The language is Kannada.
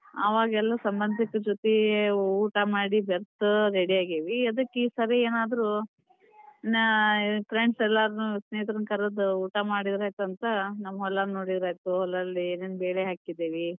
ಆವಾಗೆಲ್ಲಾ ಸಂಬಂಧಿಕರ ಜೋತಿ ಊಟ ಮಾಡಿ ಬೆರತು ready ಆಗೇವಿ, ಅದಕ್ ಈ ಸರಿ ಏನಾದ್ರು ಆ friends ಎಲ್ಲಾರನು ಸ್ನೇಹಿತರನ್ ಕರದು ಊಟ ಮಾಡಿದ್ರ ಆಯಿತಂತ ನಮ್ ಹೊಲಾ ನೋಡಿದ್ರ್ ಆಯಿತು, ಹೊಲದಲ್ಲಿ ಏನೇನ್ ಬೆಳೆ ಹಾಕಿದೇವಿ.